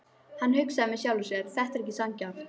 Hann hugsaði með sjálfum sér: Þetta er ekki sanngjarnt.